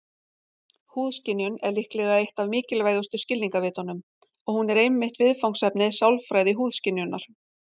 Húðskynjun er líklega eitt af mikilvægustu skilningarvitunum, og hún er einmitt viðfangsefni sálfræði húðskynjunar.